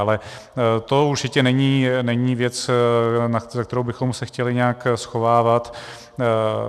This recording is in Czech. Ale to určitě není věc, za kterou bychom se chtěli nějak schovávat.